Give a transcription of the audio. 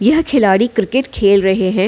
यह खिलाडी क्रिकेट खेल रहें हैं।